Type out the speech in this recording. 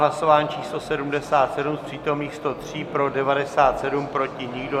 Hlasování číslo 77, z přítomných 103 pro 97, proti nikdo.